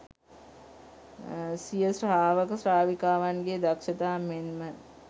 සිය ශ්‍රාවක ශ්‍රාවිකාවන්ගේ දක්ෂතා මෙන් ම